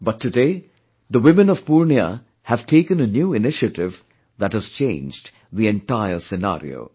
But today, the women of Purnia have taken a new initiative that has changed the entire scenario